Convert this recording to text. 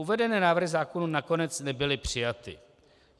Uvedené návrhy zákonů nakonec nebyly přijaty.